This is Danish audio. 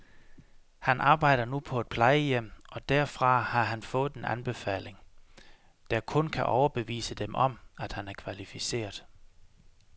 Han arbejder nu på et plejehjem, og derfra har han fået en anbefaling, der kun kan overbevise dem om, at han er kvalificeret.